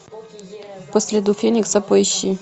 по следу феникса поищи